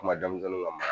Kuma denmisɛnninw ka